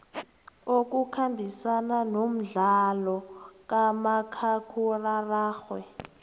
okukhambisana nomdlalo kamakhakhulararhwe